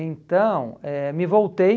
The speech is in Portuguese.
Então, eh me voltei,